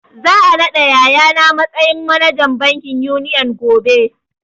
Za a naɗa yaya na matsayin manajan bankin Union gobe